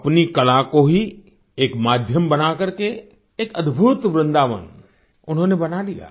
अपनी कला को ही एक माध्यम बना करके एक अद्भुत वृन्दावन उन्होंने बना लिया